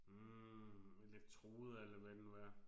Hm elektroder eller hvad det nu er